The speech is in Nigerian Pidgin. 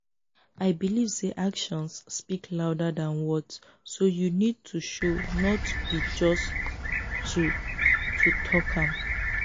i believe say actions speak louder than words so you need to show not be just to to talk am.